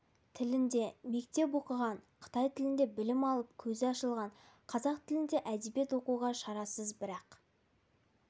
тілінде мектеп оқыған қытай тілінде білім алып көзі ашылған қазақ тілінде әдебиет оқуға шарасыз бірақ